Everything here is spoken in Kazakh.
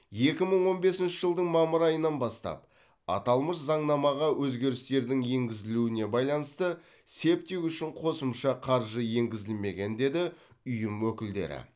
екі мың он бесінші жылдың мамыр айынан бастап аталмыш заңнамаға өзгерістердің енгізілуіне байланысты септик үшін қосымша қаржы енгізілмеген деді ұйым өкілдері